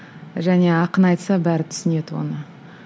және ақын айтса бәрі түсінеді оны